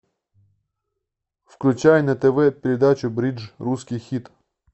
включай на тв передачу бридж русский хит